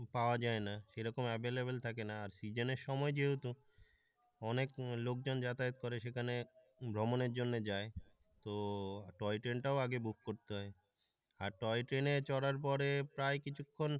পাওয়া যায় না কেরকম available থাকে না আর সিজনের সময় যেহেতু অনেক লোকজন যাতায়াত করে সেখানে ভ্রমণের জন্য যায় তো টয় ট্রেনটাও আগে বুক করতে হয় আর টয় ট্রেনে চড়ার পরে প্রায় কিছুক্ষন